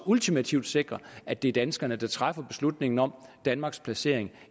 ultimativt sikrer at det er danskerne der træffer beslutningen om danmarks placering